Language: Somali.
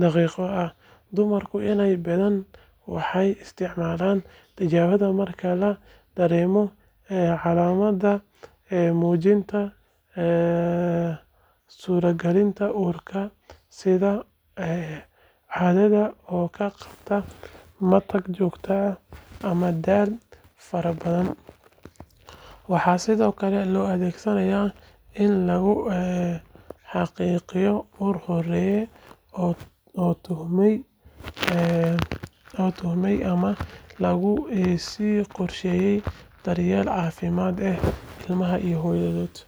daqiiqo ah. Dumarka inta badan waxay isticmaalaan tijaabadan marka ay dareemaan calaamado muujinaya suuragalnimada uur, sida caadada oo ka baaqata, matag joogto ah, ama daal fara badan. Waxaa sidoo kale loo adeegsadaa in lagu xaqiijiyo uur horey loo tuhmay ama lagu sii qorsheeyo daryeelka caafimaad ee ilmaha iyo hooyada.